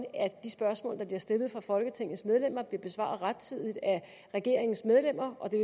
at de spørgsmål der bliver stillet fra folketingets medlemmer bliver besvaret rettidigt af regeringens medlemmer og det